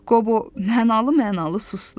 Qobo mənalı-mənalı susdu.